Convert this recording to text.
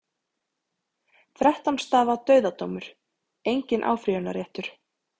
Þrettán stafa dauðadómur, enginn áfrýjunarréttur.